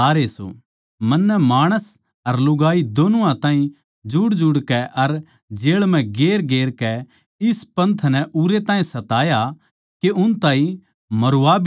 मन्नै माणस अर लुगाई दोनुआ ताहीं जुड़जुड़कै अर जेळ म्ह गेरगेर कै इस पंथ नै उरै ताहीं सताया के उन ताहीं मरवा भी दिया